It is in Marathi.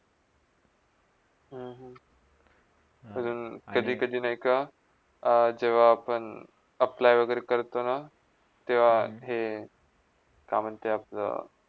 हम्म हम्म कधी - कधी नय का जेव्हा आपण apply वागेरा करतोना तेव्हा हे काम येते आपल्या.